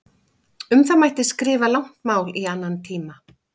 Um það mætti skrifa langt mál í annan tíma.